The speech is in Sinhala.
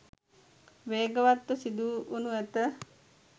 වේගවත් ව සිදු වනු ඇත.